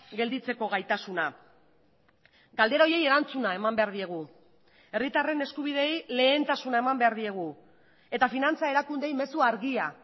gelditzeko gaitasuna galdera horiei erantzuna eman behar diegu herritarren eskubideei lehentasuna eman behar diegu eta finantza erakundeei mezua argia